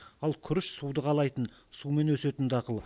ал күріш суды қалайтын сумен өсетін дақыл